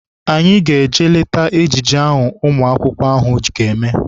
Anyị ga-eje leta ejije ahụ ụmụ akwụkwọ ahụ ga-eme.